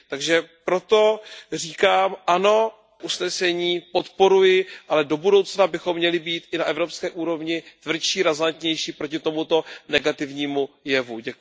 Takže proto říkám ano, usnesení podporuji, ale do budoucna bychom měli být i na evropské úrovni tvrdší, razantnější proti tomuto negativnímu jevu.